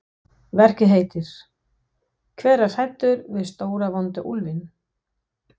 Verkið heitir Hver er hræddur við stóra, vonda úlfinn?